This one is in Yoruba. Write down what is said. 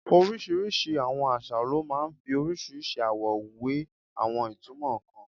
Orísìírísìí àwọn àṣà ló máa ń fi orísìírísìí àwọ̀ we àwọn ìtumọ̀ kan.